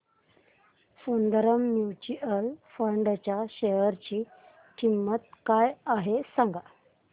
Sundaram mutual fund च्या share ची किंमत काय आहे सांगा